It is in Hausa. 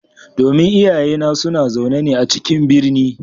Domin iyayena suna zaune a cikin birni.